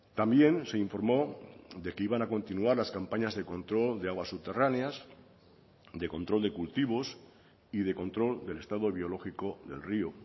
también se informó de que iban a continuar las campañas de control de aguas subterráneas de control de cultivos y de control del estado biológico del río